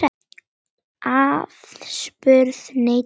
Aðspurð neitaði hún öllu.